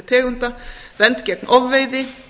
tegunda vernd gegn ofveiði